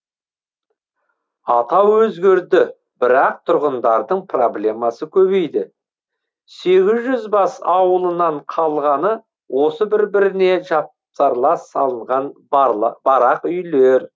атау өзгерді бірақ тұрғындардың проблемасы көбейді сегіз жүз бас ауылынан қалғаны осы бір біріне жапсарлас салынған барақ үйлер